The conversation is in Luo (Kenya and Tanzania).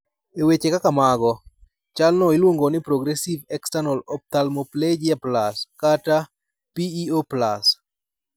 E weche kaka mago, chalno iluongo ni "progressive external ophthalmoplegia plus" (PEO+).